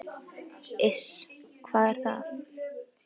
"""Iss, hvað er það?"""